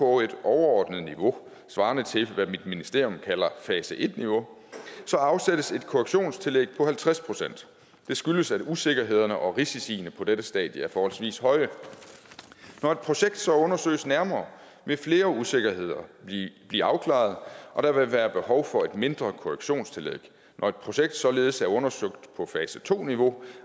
overordnet niveau svarende til hvad mit ministerium kalder fase en niveau afsættes et korrektionstillæg på halvtreds procent det skyldes at usikkerhederne og risiciene på dette stadie er forholdsvis høje når et projekt så undersøges nærmere vil flere usikkerheder blive afklaret og der vil være behov for et mindre korrektionstillæg når et projekt således er undersøgt på fase to niveau